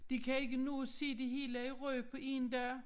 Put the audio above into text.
De kan ikke nå at se det hele i Rønne på én dag